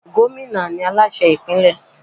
Gómìnà ni Aláṣẹ ìpínlẹ̀.